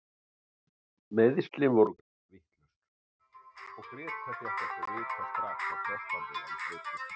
Meiðslin voru greind vitlaus og Grétar fékk ekki að vita strax að krossbandið væri slitið.